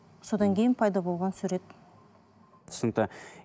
содан кейін пайда болған сурет түсінікті